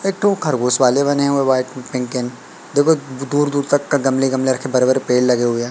एक ठो खरगोश वाले बने हुए वाइट पिंक एंड देखो दूर दूर तक गमले रखे बड़े बड़े पेड़ लगे हुए हैं।